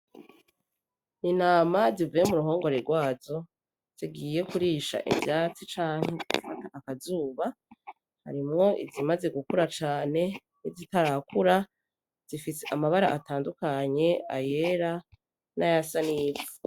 Intama zi vuye mu ruhongore rwazo zigiye kurisha ivyatsi canke kota akazuba harimwo izimaze gukura cane nizitarakura zifise amabara atandukanye ayera nayasa n'ivu.